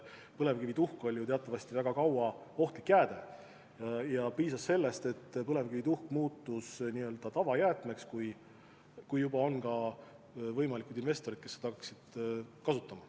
Põlevkivituhk oli teatavasti väga kaua ohtlik jääde ja piisas sellest, et põlevkivituhk muutus tavajäätmeks, kui juba tekkisid ka võimalikud investorid, kes hakkaksid seda kasutama.